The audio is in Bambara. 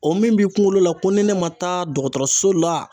O min bi kunkolo la, ko ni ne ma taa dɔgɔtɔrɔso la